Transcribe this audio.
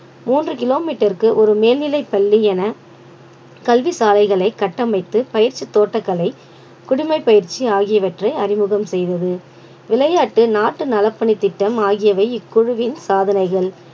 மூன்று kilometer க்கு ஒரு மேல்நிலைப் பள்ளி என கல்வி சாலைகளை கட்டமைத்து பயிற்சித் தோட்டக்கலை குடிமைப் பயிற்சி ஆகியவற்றை அறிமுகம் செய்தது விளையாட்டு நாட்டு நலப்பணித் திட்டம் ஆகியவை இக்குழுவின் சாதனைகள்